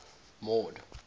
mord